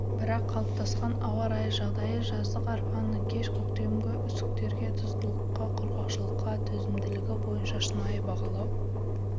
бірақ қалыптасқан ауа райы жағдайы жаздық арпаның кеш көктемгі үсіктерге тұздылыққа құрғақшылыққа төзімділігі бойынша шынайы бағалау